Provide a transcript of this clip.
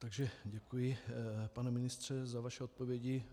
Takže děkuji, pane ministře za vaše odpovědi.